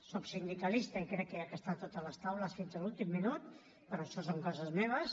soc sindicalista i crec que s’ha d’estar a totes les taules fins a l’últim minut però això són coses meves